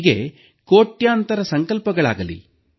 ಹೀಗೆ ಕೋಟ್ಯಂತರ ಸಂಕಲ್ಪಗಳಾಗಲಿ